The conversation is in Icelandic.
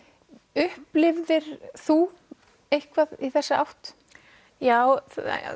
upplifðir þú eitthvað í þessa átt já